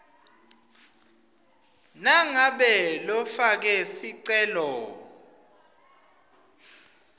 nangabe lofake sicelo